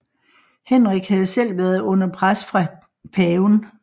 Henrik havde selv været under pres fra paven